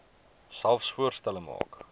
selfs voorstelle maak